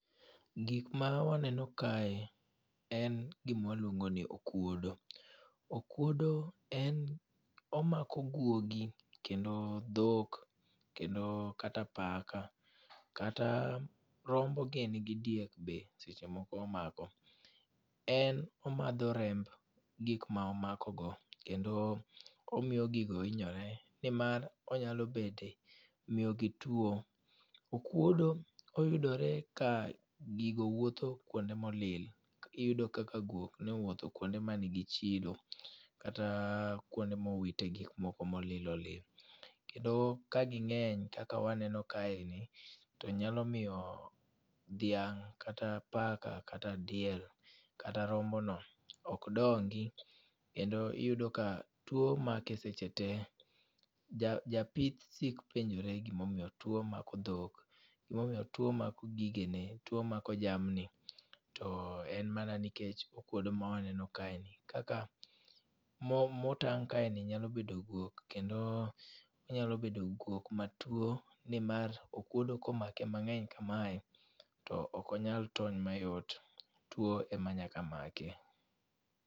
Gik ma waneno kae en gi ma waluongo ni okuodo. Okuode en omako guogi kendo dhok kendo kata paka kata rombo gini gi diek be seche moko omako. En omadho remb gik ma omako go kendo omiyo gigo hinyore nimar onyalo bete miyo gi tuo. Okuodo oyudore ka gigo wuotho kuonde molil kaki yudo kaka guok nowuotho kuonde manigi chilo kata kuonde mowite gik moko molil olil. Kendo ka gingeny kaka awaneno kae ni to nyalo miyo dhiang' kata paka kata diel kata rombo no ok dongo kendo iyudo ka tuo make seche tee . Ja japith sik penjore gimiyo tuo mako dhok tuom mako gigene tuo mako jamni to en mana nikech okuodo mwaneno kaeni . Kaka mo motang' kaeni nya bedo guok kendo onyalo bedo guok matuo nimar okuodo komake mang'eny kamae to ok onyal tony mayot .Tuo ema nyaka make.